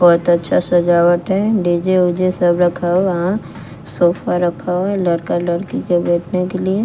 बहोत अच्छा सजावट है डी_जे उजे सब रखा वहां सोफा रखा हुआ है लड़का लड़की के बैठने के लिए।